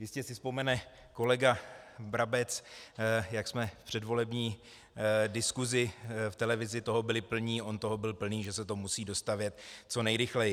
Jistě si vzpomene kolega Brabec, jak jsme v předvolební diskusi v televizi toho byli plní, on toho byl plný, že se to musí dostavět co nejrychleji.